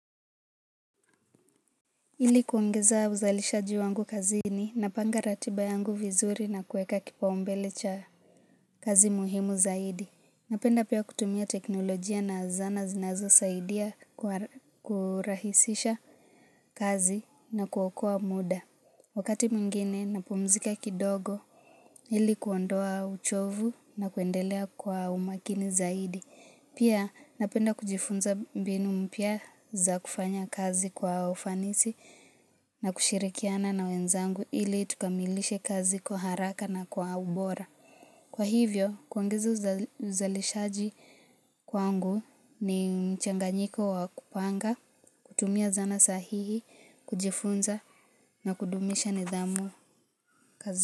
Ili kuongeza uzalishaji wangu kazini na panga ratiba yangu vizuri na kuweka kipaumbele cha kazi muhimu zaidi. Napenda pia kutumia teknolojia na zana zinazo saidia kurahisisha kazi na kuokoa muda. Wakati mwingine napumzika kidogo ili kuondoa uchovu na kuendelea kwa umakini zaidi. Pia napenda kujifunza mbinu mpya za kufanya kazi kwa ufanisi na kushirikiana na wenzangu ili tukamilishe kazi kwa haraka na kwa ubora. Kwa hivyo, kuongeza uzalishaji kwangu ni mchanganyiko wa kupanga, kutumia zana sahihi, kujifunza na kudumisha nidhamu kazi.